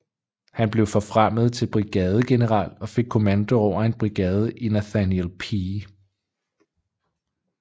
Han blev forfremmet til brigadegeneral og fik kommando over en brigade i Nathaniel P